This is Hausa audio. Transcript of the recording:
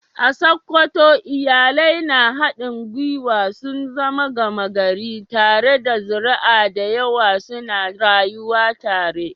A Sokoto, iyalai na haɗin gwiwa sun zama gama gari, tare da zuri'a da yawa suna rayuwa tare.